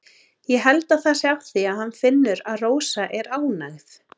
Ég held það sé af því að hann finnur að Rósa er ánægð.